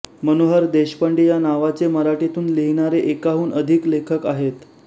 मनोहर देशपांडे या नावाचे मराठीतून लिहिणारे एकाहून अधिक लेखक आहेत